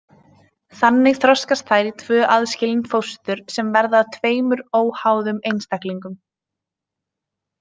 Þannig þroskast þær í tvö aðskilin fóstur sem verða að tveimur óháðum einstaklingum.